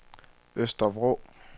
Øster Vrå